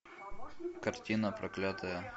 картина проклятая